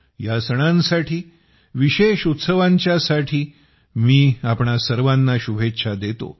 या सणांसाठी आणि विशेष उत्सवाच्यासाठी मी आपणा सर्वांना शुभेच्छा देतो